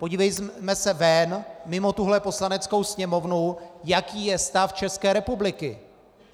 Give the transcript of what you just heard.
Podívejme se ven, mimo tuhle Poslaneckou sněmovnu, jaký je stav České republiky.